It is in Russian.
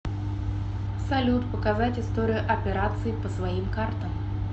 салют показать историю операций по своим картам